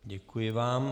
Děkuji vám.